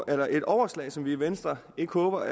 er et overslag som vi i venstre ikke håber